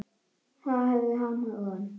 Þar höfðu hann og